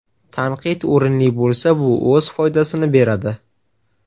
Tanqid o‘rinli bo‘lsa, bu o‘z foydasini beradi.